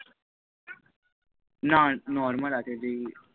না normal আছে যেই